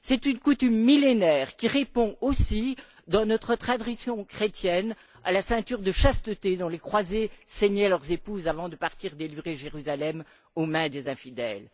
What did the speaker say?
C'est une coutume millénaire qui répond aussi, dans notre tradition chrétienne, à la ceinture de chasteté dont les croisés ceignaient leurs épouses avant de partir délivrer Jérusalem aux mains des infidèles.